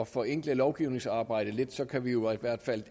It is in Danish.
forenkle lovgivningsarbejdet lidt kan vi jo i hvert fald